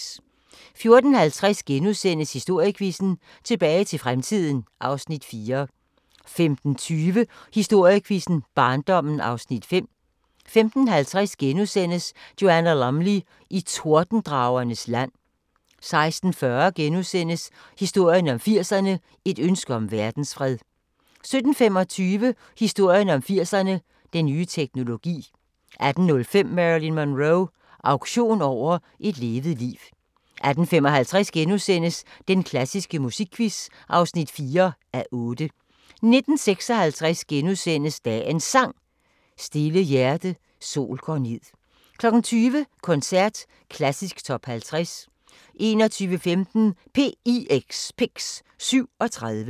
14:50: Historiequizzen: Tilbage til fremtiden (Afs. 4)* 15:20: Historiequizzen: Barndommen (Afs. 5) 15:50: Joanna Lumley i Tordendragernes land * 16:40: Historien om 80'erne: Et ønske om verdensfred * 17:25: Historien om 80'erne: Den nye teknologi 18:05: Marilyn Monroe – auktion over et levet liv 18:55: Den klassiske musikquiz (4:8)* 19:56: Dagens Sang: Stille hjerte, sol går ned * 20:00: Koncert: Klassisk Top 50 21:15: PIX: 37